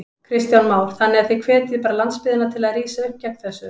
Kristján Már: Þannig að þið hvetjið bara landsbyggðina til að rísa upp gegn þessu?